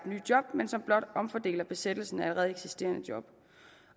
nye job men som blot omfordeler besættelsen af allerede eksisterende job